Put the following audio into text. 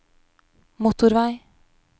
motorvei